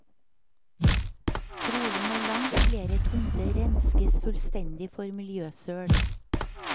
Trolig må langt flere tomter renskes fullstendig for miljøsøl.